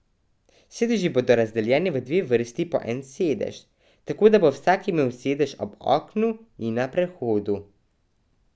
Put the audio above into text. Sedeži bodo razdeljeni v dve vrsti po en sedež, tako, da bo vsak imel sedež ob oknu in na prehodu.